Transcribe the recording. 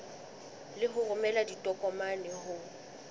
le ho romela ditokomane ho